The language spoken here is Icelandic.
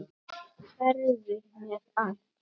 Hverfur mér allt.